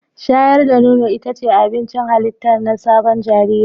Shayar da nono ita ce abincin halitta na sabon jariri